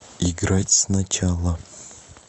играть сначала